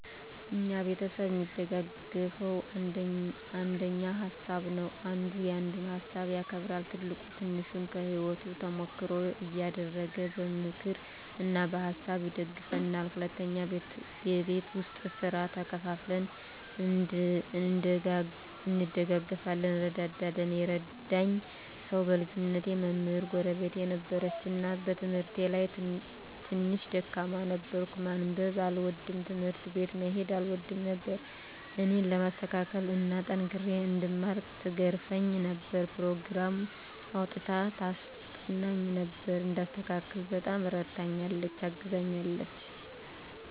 እኛ ቤተሰብ እሚደጋገፈዉ አንደኛ በሀሳብ ነዉ። አንዱ ያንዱን ሀሳብ ያከብራል፣ ትልቁ ትንሹን ከህይወቱ ተሞክሮ እያደረገ በምክር እና በሀሳብ ይደግፉናል። ሁለተኛ በቤት ዉስጥ ስራ ተከፋፍለን እንደጋገፋለን (እንረዳዳለን) ። የረዳኝ ሰዉ በልጅነቴ መምህር ጎረቤት ነበረችን እና በትምህርቴ ላይ ትንሽ ደካማ ነበርኩ፤ ማንበብ አልወድም፣ ትምህርት ቤት መሄድ አልወድም ነበር እኔን ለማስተካከል እና ጠንክሬ እንድማር ትገርፈኝ ነበር፣ ኘሮግራም አዉጥታ ታስጠናኝ ነበር፣ እንድስተካከል በጣም እረድታኛለች(አግዛኛለች) ።